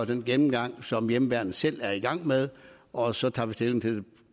den gennemgang som hjemmeværnet selv er i gang med og så tager vi stilling til det